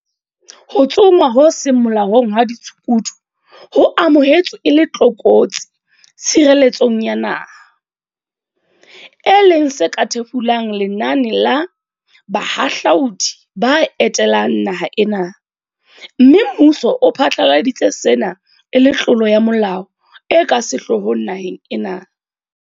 Ho tsongwa ho seng molaong hwa ditshukudu ho amohetswe e le tlokotsi tshireletsong ya naha, e leng se ka thefulang lenane la" bahahlaudi ba etelang naha ena, mme mmuso o phatlaladitse sena e le tlolo ya molao e ka sehloohong naheng ena.